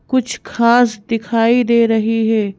कुछ घास दिखाई दे रही है।